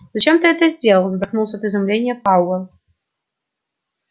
зачем ты это сделал задохнулся от изумления пауэлл